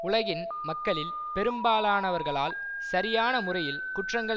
உலகின் மக்களில் பெரும்பாலானவர்களால் சரியான முறையில் குற்றங்கள்